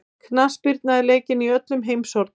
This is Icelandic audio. Knattspyrna er leikin í öllum heimshornum.